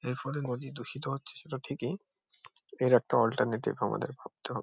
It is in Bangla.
এর ফলে নদী দূষিত হচ্ছে সেটা থেকেই এর একটা অল্টারনেটিভ আমাদের ভাবতে হব--